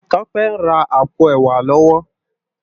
Tope n rá àpó èwá kán lòwò